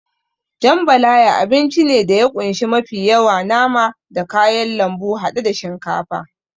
Jambalaya abinci ne da ya kunshi mafi yawa nama da kayan lambu haɗe da shinkafa.